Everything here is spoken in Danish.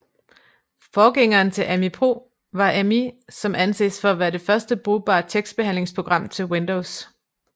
Forgængeren til Ami Pro var Amí som anses for at være det første brugbare tekstbehandlingsprogram til Windows